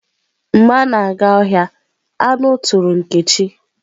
Mgbe a na-aga ohia, anu turu nkechi.